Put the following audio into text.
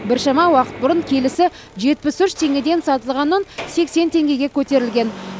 біршама уақыт бұрын келісі жетпіс үш теңгеден сатылған ұн сексен теңгеге көтерілген